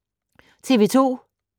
TV 2